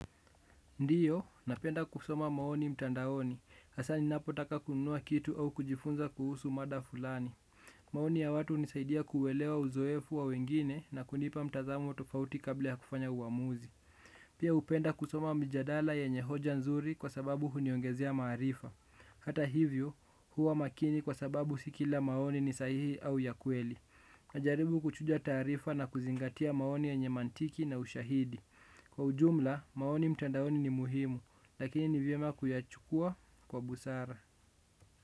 Ndiyo, napenda kusoma maoni mtandaoni. Hasaa ninapotaka kununua kitu au kujifunza kuhusu mada fulani. Maoni ya watu hunisaidia kuelewa uzoefu wa wengine na kunipa mtazamu tofauti kabla ya kufanya uamuzi. Pia hupenda kusoma mjadala yenye hoja nzuri kwa sababu huniongezea maarifa. Hata hivyo, huwa makini kwa sababu si kila maoni ni sahihi au ya kweli. Najaribu kuchuja taarifa na kuzingatia maoni yenye mantiki na ushahidi. Kwa ujumla maoni mtandaoni ni muhimu lakini ni vyema kuyachukua kwa busara.